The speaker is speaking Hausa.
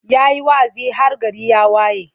Ya yi wa'azi har gari ya waye.